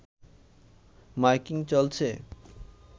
miking চলছে